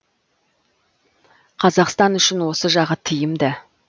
қазақстан үшін осы жағы тиімді